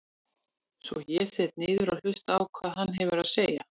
Svo ég sest niður og hlusta á hvað hann hefur að segja.